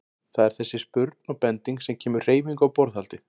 Það er þessi spurn og bending sem kemur hreyfingu á borðhaldið.